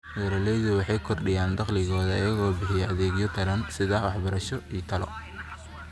Beeralaydu waxay kordhiyaan dakhligooda iyagoo bixiya adeegyo taran sida waxbarasho iyo talo.